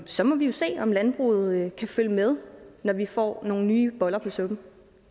så må vi jo se om landbruget kan følge med når vi får nogle nye boller på suppen